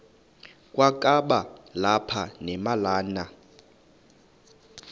kwakaba lapha nemalana